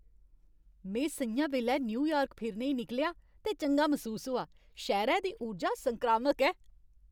में स'ञां बैल्लै न्यूयार्क फिरने ई निकलेआ ते चंगा मसूस होआ। शैह्रै दी उर्जा संक्रामक ऐ।